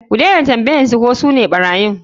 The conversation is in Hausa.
Ku dena tambayan su ko sune ɓarayin.